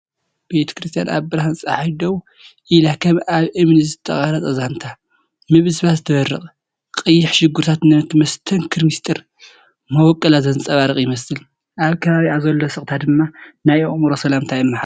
ቤተክርስትያን ኣብ ብርሃን ጸሓይ ደው ኢላከም ኣብ እምኒ ዝተቐርጸ ዛንታ ምብስባስ ትበርቕ። ቀይሕ መሸጎሪታታ ነቲ መስተንክር ምስጢር መበቆላ ዘንጸባርቕ ይመስል፤ ኣብ ከባቢኣ ዘሎ ስቕታ ድማ ናይ ኣእምሮ ሰላም የመሓላልፍ።"